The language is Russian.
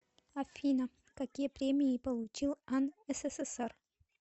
афина какие премии получил ан ссср